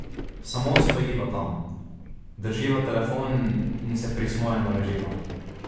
Samo stojiva tam, drživa telefon in se prismojeno reživa.